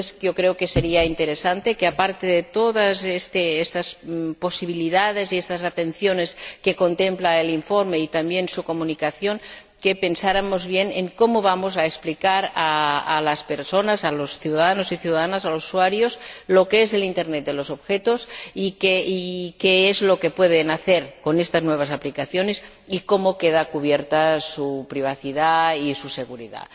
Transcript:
Creo que sería interesante que, aparte de todas estas posibilidades y estas atenciones que contempla el informe y también su Comunicación ,pensáramos bien en cómo vamos a explicar a las personas, a los ciudadanos y las ciudadanas, a los usuarios, lo que es la Internet de los objetos y qué es lo que pueden hacer con estas nuevas aplicaciones y cómo quedan cubiertas su privacidad y su seguridad.